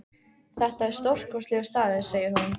Þetta er stórkostlegur staður, segir hún.